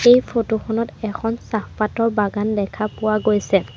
এই ফটো খনত এখন চাহপাতৰ বাগান দেখা পোৱা গৈছে।